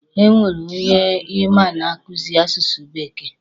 E nwere onye ị ma na-akuzi asụsụ bekee?